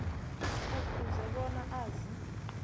kufuze bona azi